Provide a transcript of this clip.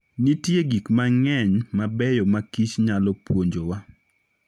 Nitie gik mang'eny mabeyo makich nyalo puonjowa.